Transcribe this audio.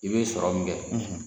I bɛ sɔrɔ min kɛ,